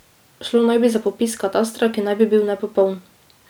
Šlo naj bi za popis katastra, ki naj bi bil nepopoln.